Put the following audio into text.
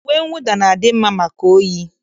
Uwe mwụda na-adị mma maka oyi